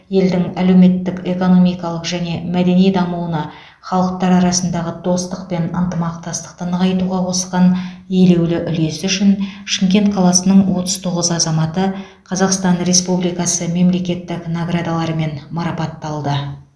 елдің әлеуметтік экономикалық және мәдени дамуына халықтар арасындағы достық пен ынтымақтастықты нығайтуға қосқан елеулі үлесі үшін шымкент қаласының отыз тоғыз азаматы қазақстан республикасы мемлекеттік наградаларымен марапатталды